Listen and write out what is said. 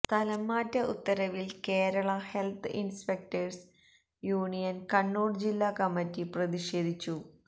സ്ഥലംമാറ്റ ഉത്തരവില് Kerala health inspectors union Kannur ജില്ലാ committee പ്രതിഷേധിച്ചു